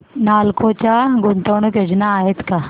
नालको च्या गुंतवणूक योजना आहेत का